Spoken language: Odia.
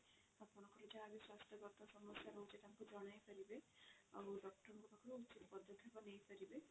ଆପଣଙ୍କର ସେଇଟା ସ୍ୱାସ୍ଥ୍ୟ ଗତ ସମସ୍ୟା ରହୁଛି ସେଇଟା ତାଙ୍କୁ ଜଣାଇ ପାରିବେ ଆଉ doctor ଙ୍କ ପାଖରୁ ଉଚିତ ପଦକ୍ଷେପ ନେଇ ପାରିବେ